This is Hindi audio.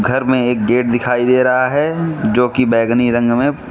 घर में एक गेट दिखाई दे रहा है जो कि बैंगनी रंग में --